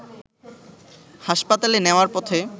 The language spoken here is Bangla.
হাসপাতালে নেওয়ার পথে